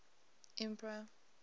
empire